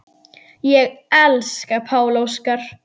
Ég elska Pál Óskar.